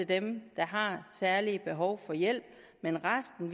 dem der har særlige behov for hjælp men resten